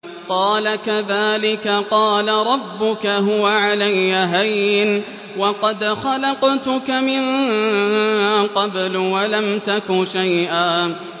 قَالَ كَذَٰلِكَ قَالَ رَبُّكَ هُوَ عَلَيَّ هَيِّنٌ وَقَدْ خَلَقْتُكَ مِن قَبْلُ وَلَمْ تَكُ شَيْئًا